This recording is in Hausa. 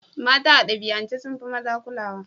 Mata a dabi'ance sun fi maza kulawa.